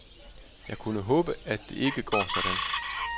Jeg kan kun håbe, at det ikke går sådan.